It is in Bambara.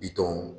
Bitɔnw